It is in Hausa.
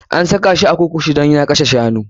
An saka shi a kurkuku dan ya kashe shanu.